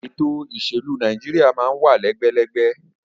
Ètò òṣèlú Nàìjíríà máa ń wà lẹ́gbẹ́lẹ́gbẹ́